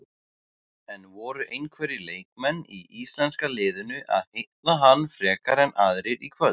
En voru einhverjir leikmenn í íslenska liðinu að heilla hann frekar en aðrir í kvöld?